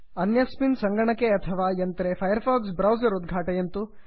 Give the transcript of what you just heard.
अन्यस्मिन् सङ्गणके अथवा यन्त्रे फैर् फाक्स् ब्रौसर् उद्घाटयन्तु